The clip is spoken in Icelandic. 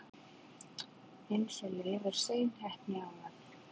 eins og Leifur seinheppni áðan!